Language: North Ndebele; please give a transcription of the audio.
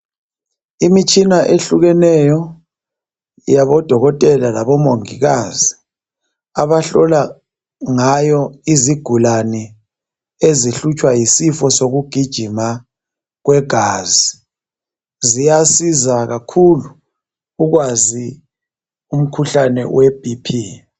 Imitshina ehlukeneyo yabodokotela labomongikazi abahlola ngayo izigulane ezihlutshwa yisifo sokugijima kwegazi ziyasiza kakhulu ukwazi umkhuhlane weBp.